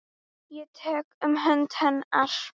Ég tek um hönd hennar.